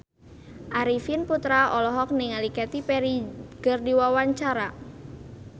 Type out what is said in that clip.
Arifin Putra olohok ningali Katy Perry keur diwawancara